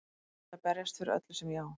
Ég ætla að berjast fyrir öllu sem ég á.